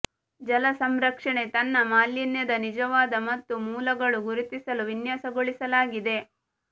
ಜಲ ಸಂರಕ್ಷಣೆ ತನ್ನ ಮಾಲಿನ್ಯದ ನಿಜವಾದ ಮತ್ತು ಮೂಲಗಳು ಗುರುತಿಸಲು ವಿನ್ಯಾಸಗೊಳಿಸಲಾಗಿದೆ